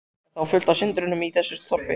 Er þá fullt af syndurum í þessu þorpi?